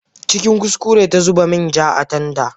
Cikin kuskure ta zuba main ja a tanda.